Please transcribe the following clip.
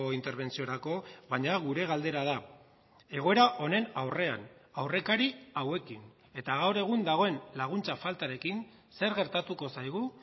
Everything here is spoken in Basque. interbentziorako baina gure galdera da egoera honen aurrean aurrekari hauekin eta gaur egun dagoen laguntza faltarekin zer gertatuko zaigu